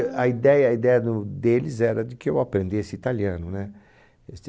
A ideia a ideia do deles era de que eu aprendesse italiano, né? Este